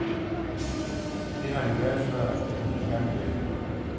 Det har vi været før, men denne gang er det alvor.